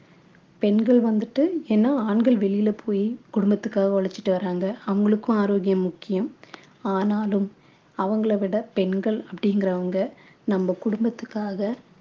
பெண்கள் வந்துட்டு ஏன்னா ஆண்கள் வெளியில போய் குடும்பத்துக்காக உழைச்சிட்டு வராங்க அவங்களுக்கும் ஆரோக்கியம் முக்கியம் ஆனாலும் அவங்களை விட பெண்கள் அப்படிங்கிறவங்க நம்ம குடும்பத்துக்காக